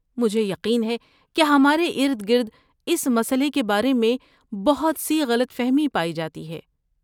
مجھے یقین ہے کہ ہمارے ارد گرد اس مسئلے کے بارے میں بہت سی غلط فہمی پائی جاتی ہے۔